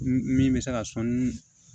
Min bɛ se ka sɔni